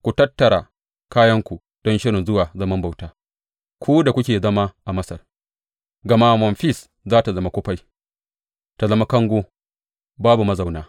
Ku tattara kayanku don shirin zuwa zaman bauta, ku da kuke zama a Masar, gama Memfis za tă zama kufai ta zama kango, babu mazauna.